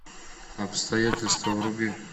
обстоятельства вруби